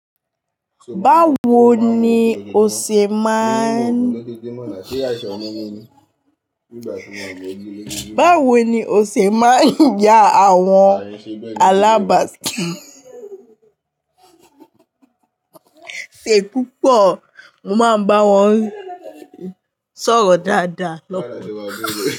Báwo ni o ṣe máa ń ya àwọn alábàáṣì ṣe púpọ̀? Mo má ń bá wọn sọ̀rọ̀ dáadáa lọ́pọ̀.